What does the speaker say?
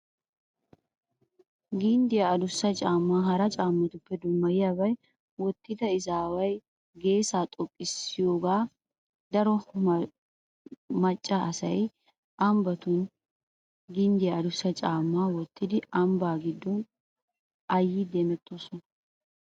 Ginddiyaa adussa caammaa hara caammatuppe dummayiyaabay wottida izaawu geesaa xoqqissiyogaa. Daro macca asay ambbatun ginddiyaa adussa caammaa wottidi ambbaa giddon ayyidi hemettoosona